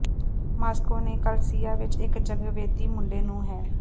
Moscow ਨੂੰ ਕਲੀਸਿਯਾ ਵਿੱਚ ਇੱਕ ਜਗਵੇਦੀ ਮੁੰਡੇ ਨੂੰ ਹੈ